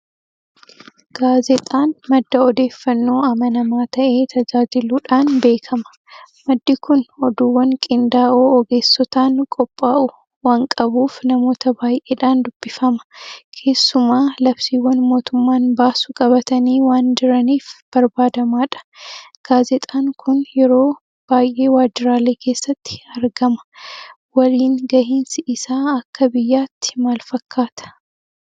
Gaazexaan madda odeeffannoo amanamaa ta'ee tajaajiluudhaan beekama. Maddi kun Oduuwwan qindaa'oo ogeessotaan qophaa'u waanqabuuf namoota baay'eedhaan dubbifama. Kessumaa labsiiwwan mootummaan baasu qabatanii waanjiraniif barbaadamaadha. Gaazexaan kun yeroo baay'ee Waajjiraalee keessatti argama. Waliingahinsi isaa akka biyyaatti maalfakkaata?